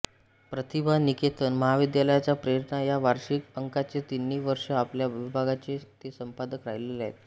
प्रतिभा निकेतन महाविद्यालयाच्या प्रेरणा या वार्षिक अंकाचे तिन्ही वर्ष आपल्या विभागाचे ते संपादक राहिलेले आहेत